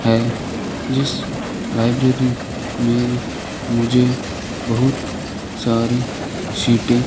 है जिस लाइब्रेरी में मुझे बहुत सारी सीटें --